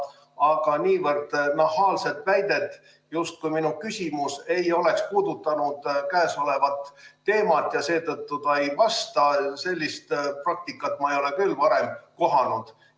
Aga niivõrd nahaalset väidet, justkui mu küsimus ei oleks puudutanud käesolevat teemat ja seetõttu ta ei vasta – sellist praktikat ma ei ole küll varem kohanud.